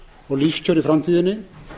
og lífskjör í framtíðinni